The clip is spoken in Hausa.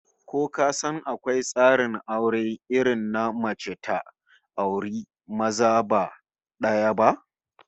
Ko ka san akwai tsarin aure irin na mace daya ta auri maza ba daya ba?